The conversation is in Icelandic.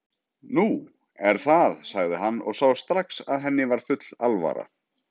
Nú. er það já, sagði hann og sá strax að henni var full alvara.